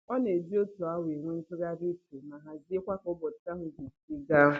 Ọ na-eji otu awa enwe ntụgharị uche ma haziekwa k'ụbọchị ahụ ga-esi gaa